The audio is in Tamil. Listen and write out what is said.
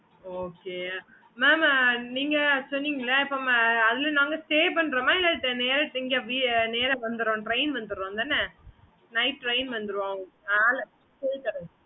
okay mam